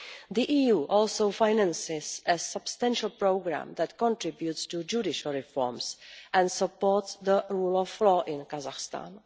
The EU also finances a substantial programme that contributes to judicial reforms and supports the rule of law in Kazakhstan.